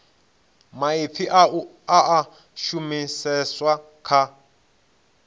maipfi a a shumiseswa kha